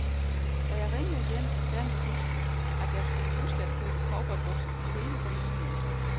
Da jeg ringede hjem, sagde min hustru, at jeg skulle huske at købe cowboybukser til hele familien.